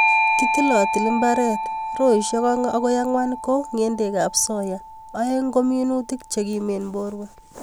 Kitilotili mbaret, roisiek oeng akoi ang'wan ko ng'endekab soya, oeng' ko minutik chekimen borwek.